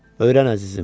Öyrən, əzizim.